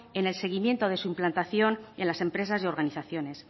en el seguimiento de su implantación en las empresas y organizaciones